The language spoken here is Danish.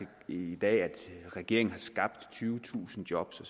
i dag at regeringen har skabt tyvetusind job